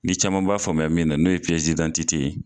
Ni caman b'a faamuya min na n'o ye ye.